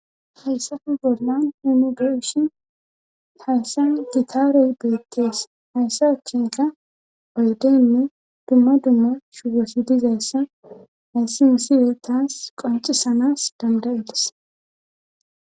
hayssafe bollan himube7shin hayssa gitaare be7ekkees hayssa achchenka oydenne dumma dumma shugosi dizayssa hayssi misiwe taas qoncisanas dandayides